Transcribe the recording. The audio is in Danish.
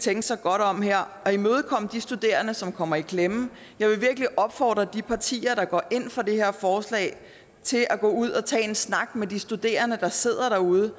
tænke sig godt om her og imødekomme de studerende som kommer i klemme jeg vil virkelig opfordre de partier der går ind for det her forslag til at gå ud og tage en snak med de studerende der sidder derude